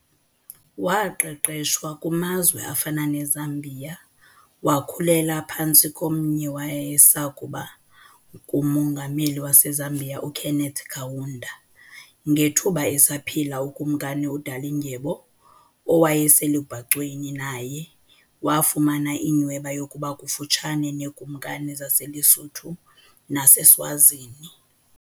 Waqeqeshwa kumazwe afana neZambia wakhulela phantsi kowayesakuba nguMongameli waseZambia uKenneth Kaunda, ngethuba esaphila uKumkani uDalindyebo owayeselubhacweni naye wafumana inyhweba yokuba kufutshane neekumkani zaseLesotho naseSwazini.